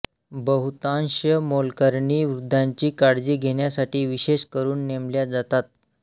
बहुतांश मोलकरणी वृध्दांची काळजी घेण्यासाठी विशेष करून नेमल्या जातात